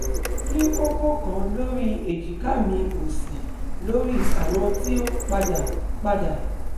Mo ni koko kan lori ejika mi osi, lori awọn ti o pada pada